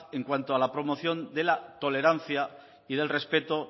en cuanto a la promoción de la tolerancia y del respeto